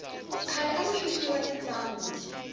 khale aku xuxiwa endyangu